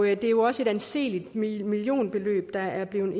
jo også et anseligt millionbeløb der er blevet